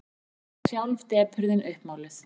Hann varð sjálf depurðin uppmáluð.